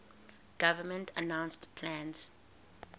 government announced plans